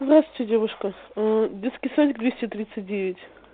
здравствуйте девушка детский садик двести тридцать девять